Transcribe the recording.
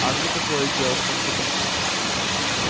а мне какое дело что он записан